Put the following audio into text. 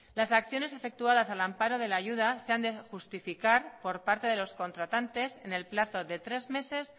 las acciones efectuadas al amparo de la ayuda se han de justificar por parte de los contratantes en el plazo de tres meses